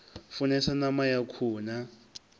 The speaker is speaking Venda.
funesa ṋama ya khuhu na